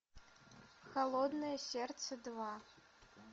холодное сердце два